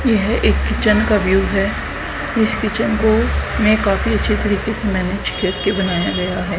यह एक किचेन का व्यू है इस किचेन को मै काफी अच्छी तरह से मैनेज करके बनाया गया है।